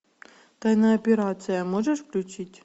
тайная операция можешь включить